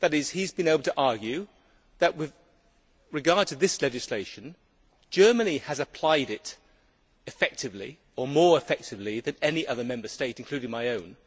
He has been able to argue that, with regard to this legislation, Germany has applied it effectively, or more effectively than any other Member State, including my own.